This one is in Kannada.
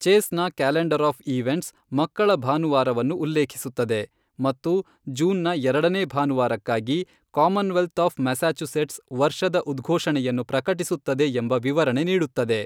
ಚೇಸ್ನ ಕ್ಯಾಲೆಂಡರ್ ಆಫ್ ಈವೆಂಟ್ಸ್ ಮಕ್ಕಳ ಭಾನುವಾರವನ್ನು ಉಲ್ಲೇಖಿಸುತ್ತದೆ ಮತ್ತು ಜೂನ್ನ ಎರಡನೇ ಭಾನುವಾರಕ್ಕಾಗಿ ಕಾಮನ್ವೆಲ್ತ್ ಆಫ್ ಮ್ಯಾಸಚೂಸೆಟ್ಸ್ ವರ್ಷದ ಉದ್ಘೋ಼ಷಣೆಯನ್ನು ಪ್ರಕಟಿಸುತ್ತದೆ ಎಂಬ ವಿವರಣೆ ನೀಡುತ್ತದೆ.